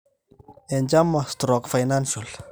chama/financial